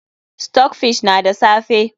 Stockfish na da safe.